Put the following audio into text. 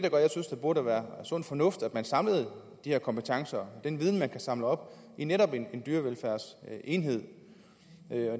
burde være sund fornuft at man samlede de her kompetencer og den viden man kan samle op i netop en dyrevelfærdsenhed